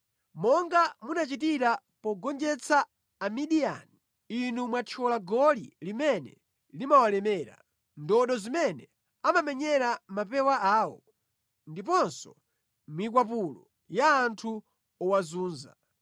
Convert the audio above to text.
Monga munachitira pogonjetsa Amidiyani, inu mwathyola goli limene limawalemera, ndodo zimene amamenyera mapewa awo, ndiponso mikwapulo ya anthu owazunza.